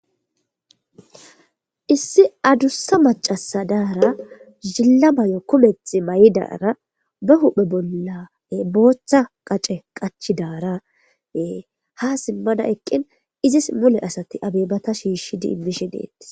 Issi adussa macasadaara zilla may7o kumet may7idaara ba huphe bolla booththa qace qachi daaraee ha simmada eqqin izis mule asati abeebata shiishi diimmishi deettis